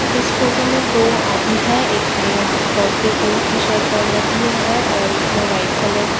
इस फोटो में दो आदमी है एक ने पर्पल कलर की शर्ट पहन रखी है और एक ने व्हाइट कलर की।